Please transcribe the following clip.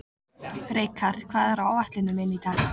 Rikharð, hvað er á áætluninni minni í dag?